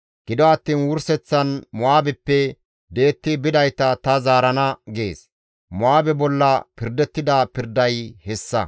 «Gido attiin wurseththan Mo7aabeppe di7etti bidayta ta zaarana» gees. Mo7aabe bolla pirdettida pirday hessa.